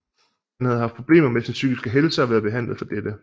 Han havde haft problemer med sin psykiske helse og været behandlet for dette